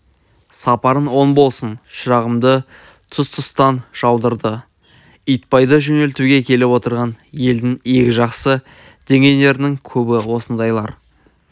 сапарын оң болсын шырағымды тұс-тұстан жаудырды итбайды жөнелтуге келіп отырған елдің игі жақсы дегендерінің көбі осындайлар